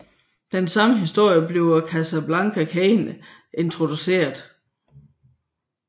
I samme historie bliver Cassandra Cain introduceret